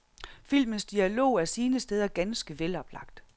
Filmens dialog er sine steder ganske veloplagt.